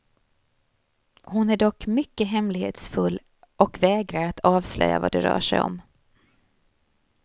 Hon är dock mycket hemlighetsfull och vägrar att avslöja vad det rör sig om.